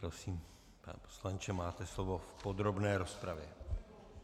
Prosím, pane poslanče, máte slovo v podrobné rozpravě.